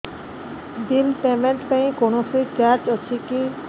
bill payment ପାଇଁ କୌଣସି charge ଅଛି କି